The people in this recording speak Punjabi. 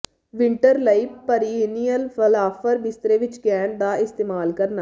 ਵਿੰਟਰ ਲਈ ਪੀਰੀਅਨਿਯਲ ਫਲਾਵਰ ਬਿਸਤਰੇ ਵਿੱਚ ਗੈਂਟ ਦਾ ਇਸਤੇਮਾਲ ਕਰਨਾ